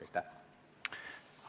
Aitäh!